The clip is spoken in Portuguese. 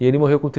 E ele morreu com